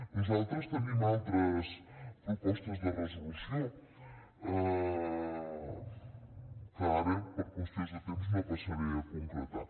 nosaltres tenim altres propostes de resolució que ara per qüestions de temps no passaré a concretar